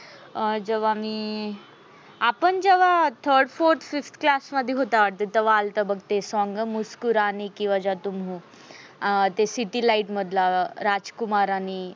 अह जेव्हा मी आपण मी तेव्हा third, fourth, fifth class मधी होता वाटते. तेव्हा अलता बघ ते संग मुस्कुराने की वजा तुम हो अं ते city light मला राजकुमार आणि